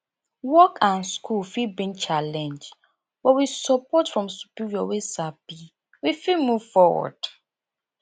work and school fit bring challenge but with support from superior wey sabi we fit move foward